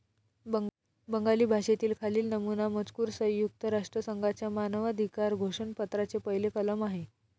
बंगाली भाषेतील खालील नमूना मजकूर संयुक्त राष्ट्रसंघाच्या मानवाधिकार घोषणपत्राचे पहिले कलम आहे.